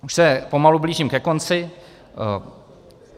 Už se pomalu blížím ke konci.